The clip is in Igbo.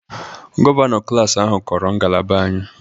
Gọvanọ klas ahụ kọrọ ngalaba anyị